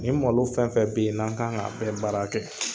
Nin malo fɛn fɛn be yen, n'an kan ŋ'a bɛ baara kɛ